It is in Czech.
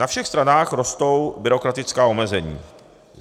Na všech stranách rostou byrokratická omezení.